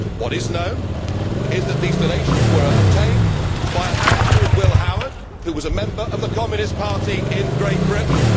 What is known is that these donations were obtained by a man called Will Howard, who was a member of the Communist Party in Great Britain.